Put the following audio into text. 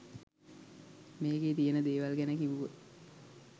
මේකේ තියන දේවල් ගැන කිව්වොත්